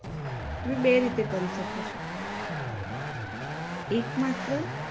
તમે બે રીતે કરી શકોછો એક માત્ર